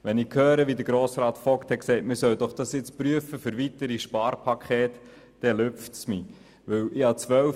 Wenn ich dann höre, wie Grossrat Vogt sagt, man solle dies doch im Hinblick auf weitere Sparpakete prüfen, dann haut mich das um.